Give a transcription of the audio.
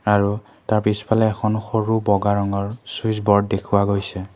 আৰু তাৰ পিছফালে সৰু বগা ৰঙৰ চুইচ বৰ্ড দেখুওৱা গৈছে।